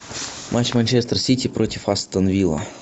матч манчестер сити против астон вилла